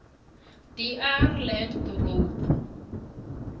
dr lategan road